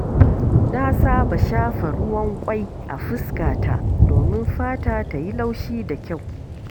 Na saba shafa ruwan ƙwai a fuskata domin fata ta yi laushi da kyau.